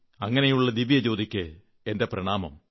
അങ്ങനെയുള്ള ദിവ്യജ്യോതിക്ക് എന്റെ പ്രണാമം